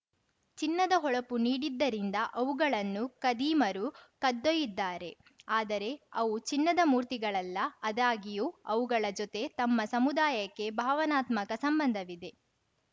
ಚಿನ್ನದ ಹೊಳಪು ನೀಡಿದ್ದರಿಂದ ಅವುಗಳನ್ನು ಖದೀಮರು ಕದ್ದೊಯಿದ್ದಾರೆ ಆದರೆ ಅವು ಚಿನ್ನದ ಮೂರ್ತಿಗಳಲ್ಲ ಅದಾಗ್ಯೂ ಅವುಗಳ ಜೊತೆ ತಮ್ಮ ಸಮುದಾಯಕ್ಕೆ ಭಾವನಾತ್ಮಕ ಸಂಬಂಧವಿದೆ